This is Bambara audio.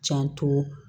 Janto